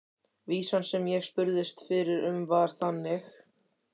Vísan sem ég spurðist fyrir um var þannig: